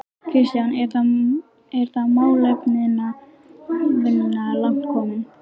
Kristján: Er þá málefnavinna langt komin?